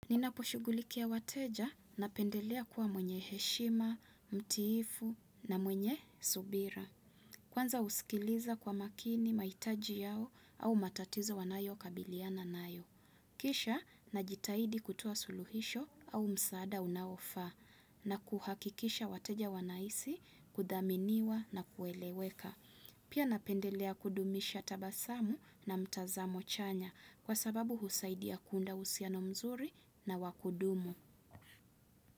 Ninaposhughulikia wateja na pendelea kuwa mwenye heshima, mtiifu na mwenye subira. Kwanza husikiliza kwa makini, mahitaji yao au matatizo wanayo kabiliana nayo. Kisha na jitahidi kutoa suluhisho au msaada unaofaa na kuhakikisha wateja wanahisi kudhaminiwa na kueleweka. Pia napendelea kudumisha tabasamu na mtazamo chanya kwa sababu husaidia kuunda uhusiano mzuri na wakudumu.